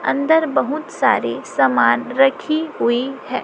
अन्दर बहुत सारे सामान रखी हुई है।